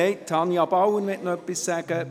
– Nein, Tanja Bauer möchte noch etwas sagen.